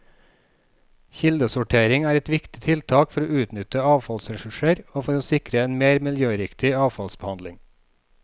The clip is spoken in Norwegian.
Kildesortering er et viktig tiltak for å utnytte avfallsressurser og for å sikre en mer miljøriktig avfallsbehandling.